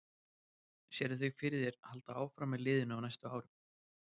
Sérðu þig fyrir þér halda áfram með liðið á næstu árum?